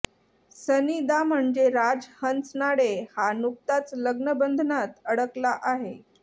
सनी दा म्हणजे राज हंचनाळे हा नुकताच लग्नबंधनात अडकला आहे